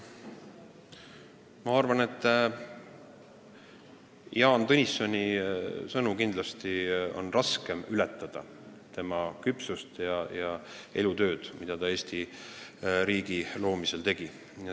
Ma arvan, et Jaan Tõnissoni sõnu on kindlasti raske ületada, ka tema küpsust ja elutööd, mida ta Eesti riigi loomisel tegi.